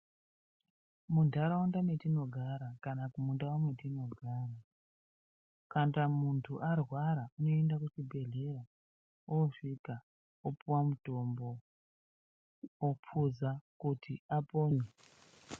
Muntaraunda metinogara kana mundau matinogara, kana muntu arwara unoende kuzvibhedhlera osvika , opiwa mutombo, opuza kuti apone.